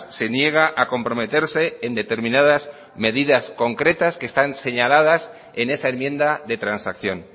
se niega a comprometerse en determinadas medidas concretas que están señaladas en esa enmienda de transacción